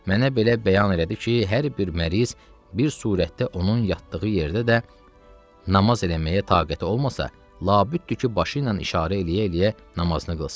Mənə belə bəyan elədi ki, hər bir məriz bir surətdə onun yatdığı yerdə də namaz eləməyə taqəti olmasa, labüddür ki, başı ilə işarə eləyə-eləyə namazını qılsın.